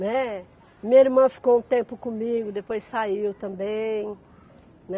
Né, minha irmã ficou um tempo comigo, depois saiu também, né.